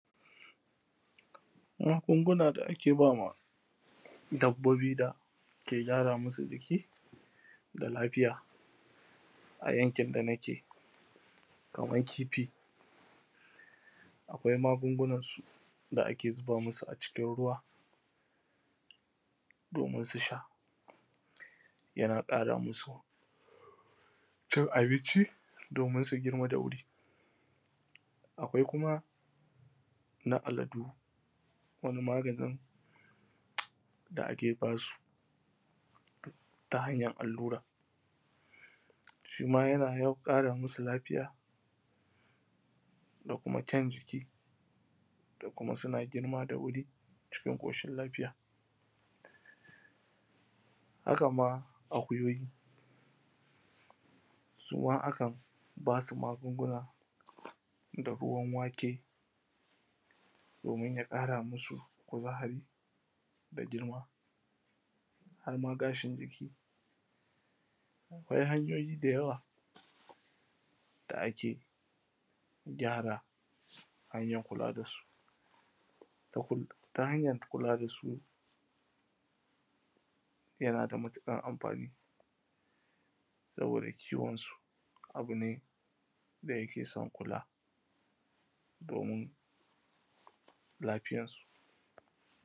Magunguna da ake ma dabbobi, da ke kyara musu jiki da lafiya a yankin da nake, kamar kifi, akwai magungunansu da ake zuba musu a cikin ruwa, domin su sha, yana ƙara musu cin abinci, domin su girma da wuri. Akwai kuma na aladu, wani maganin da ake ba su ta hanyar allura, shi ma yana yawan ƙara musu lafiya, da kuma kyan jiki, da kuma suna girma da wuri, cikin ƙoshin lafiya da kuma akuyoyi suma akan ba su magunguna da ruwan wake, domin ya ƙara musu kuzari, da girma, har ma gashin jiki. Akwai hanyoyi da yawa da ake kyara, hanyan kula da su ta hanyan kula da su yana da matuƙar amfani, saboda kiwon su abu ne da yake kula domin lafiyar su.